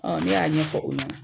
Ɔn ne y'a ɲɛfɔ u ɲɛna.